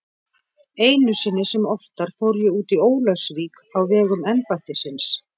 Einu sinni sem oftar fór ég út í Ólafsvík á vegum embættisins.